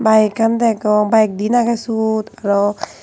bike an degong bike diyen agey suot aro.